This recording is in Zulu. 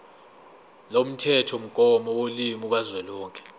lomthethomgomo wolimi kazwelonke